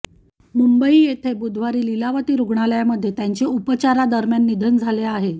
मुंबई येथे बुधवारी लीलावती रुग्णालयांमध्ये त्यांचे उपचारादरम्यान निधन झाले आहे